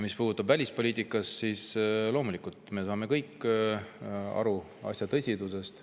Mis puudutab välispoliitikat, siis loomulikult me saame kõik aru asja tõsidusest.